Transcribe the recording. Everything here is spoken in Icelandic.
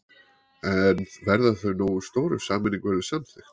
En verða þau nógu stór ef sameining verður samþykkt?